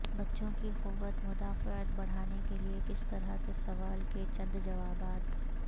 بچوں کی قوت مدافعت بڑھانے کے لئے کس طرح کے سوال کے چند جوابات